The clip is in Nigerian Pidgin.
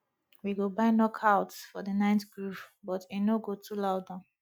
we go buy knockouts for the night groove but e no go too loud am